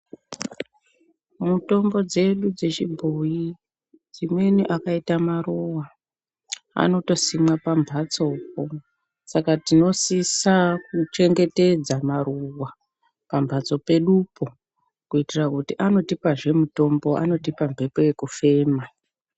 Mutombo dzedu dzechibhoyi dzimweni akaita maruwa anotosimwa pambatsopo saka tinosisa kuchengetedza maruwa pambatso pedupo kuitira kuti anotipazve mutombo anotipa mbepo yekufema.